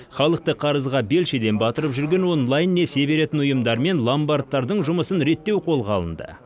халықты қарызға белшеден батырып жүрген онлайн несие беретін ұйымдар мен ломбардтардың жұмысын реттеу қолға алынды